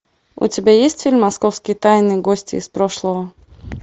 у тебя есть фильм московские тайны гости из прошлого